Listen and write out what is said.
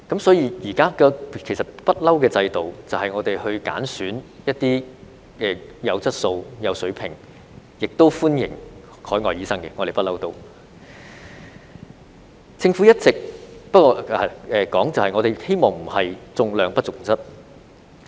所以，現行的制度就是我們會揀選一些有質素、有水平的醫生，而我們亦一向歡迎海外醫生，只是希望並非重量不重質。